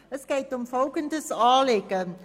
Es geht um folgendes Anliegen: